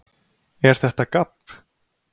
ER ÞETTA GABB?